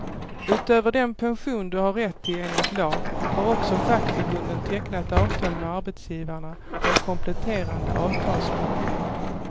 Utöver den pension du har rätt till enligt lag, har också fackförbunden tecknat avtal med arbetsgivarna om kompletterande avtalspension.